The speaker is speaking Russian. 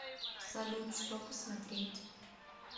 салют что посмотреть